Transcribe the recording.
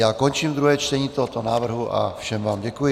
Já končím druhé čtení tohoto návrhu a všem vám děkuji.